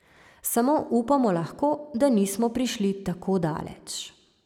Samo upamo lahko, da nismo prišli tako daleč.